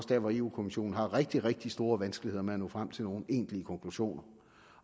dér hvor europa kommissionen har rigtig rigtig store vanskeligheder med at nå frem til nogen egentlige konklusioner